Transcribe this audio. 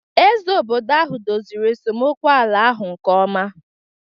Eze obodo ahụ dozịrị esemokwu ala ahụ nke ọma